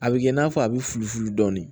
A bɛ kɛ i n'a fɔ a bɛ fulu dɔɔnin